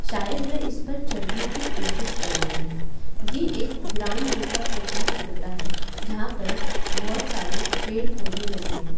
शायद वे इस पर चढ़ने की कोशिश कर रहा है ये एक ग्राउंड जैसा प्रतीत होता है जहां पर बहोत सारे पेड़ पौधे लगे हैं।